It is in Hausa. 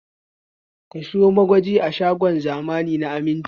Ka sayo magaji a shagon zamani na Aminci!